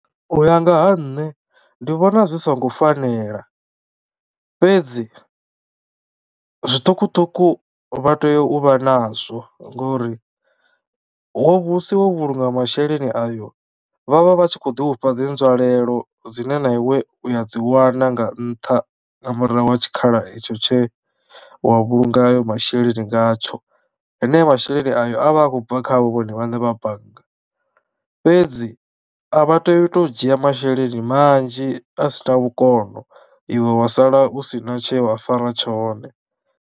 U ya nga ha nṋe ndi vhona zwi songo fanela fhedzi zwiṱukuṱuku vha tea u vha nazwo ngori ho vhusiwa ho vhulunga masheleni ayo vhavha vhatshi kho ḓi ufha dzi nzwalelo dzine na iwe u ya dzi wana nga ntha nga murahu ha tshikhala etsho tshe wa vhulunga ayo masheleni ngatsho. Hone masheleni ayo a vha a khou bva khavho vhone vhaṋe vha bannga fhedzi a vha teyi u to dzhia masheleni manzhi a sina vhukono iwe wa sala u sina tshewa fara tshone.